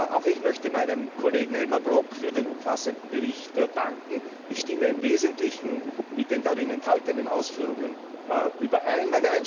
Auch ich möchte meinem Kollegen Elmar Brok für den umfassenden Bericht danken. Ich stimme im Wesentlichen mit den darin enthaltenen Ausführungen überein.